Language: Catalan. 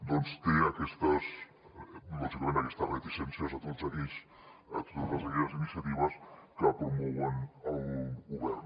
doncs té aquestes lògicament reticències a totes aquelles iniciatives que promou el govern